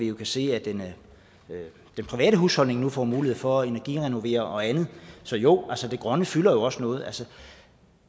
jo kan se at den private husholdning nu får mulighed for at energirenovere og andet så jo det grønne fylder jo også noget